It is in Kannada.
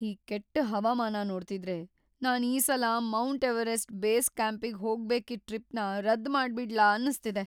ಈ ಕೆಟ್ ಹವಾಮಾನ ನೋಡ್ತಿದ್ರೆ ನಾನ್‌ ಈ ಸಲ ಮೌಂಟ್ ಎವರೆಸ್ಟ್ ಬೇಸ್ ಕ್ಯಾಂಪಿಗ್ ಹೋಗ್ಬೇಕಿದ್ ಟ್ರಿಪ್ನ ರದ್ದ್ ಮಾಡ್ಬಿಡ್ಲಾ ಅನ್ಸ್ತಿದೆ.